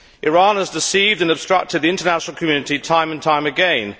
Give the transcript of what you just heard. Iran has deceived and obstructed the international community time and time again.